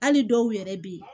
Hali dɔw yɛrɛ bɛ yen